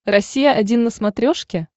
россия один на смотрешке